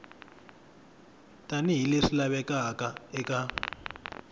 tani hi leswi lavekaka eka